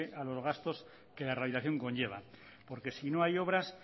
a los gastos que la realización conllevan porque si no hay obras